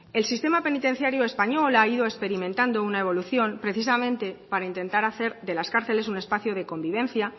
el sistema penitenciario español ha ido experimentando una evolución precisamente para intentar hacer de las cárceles un espacio de convivencia